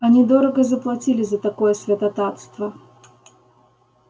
они дорого заплатили за такое святотатство